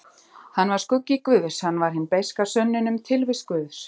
Hann var skuggi guðs, hann var hin beiska sönnun um tilvist guðs.